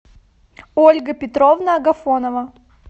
ольга петровна агафонова